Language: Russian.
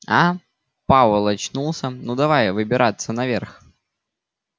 а пауэлл очнулся ну давай выбираться наверх